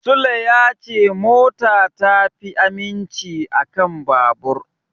Sule ya ce mota ta fi aminci a kan babur.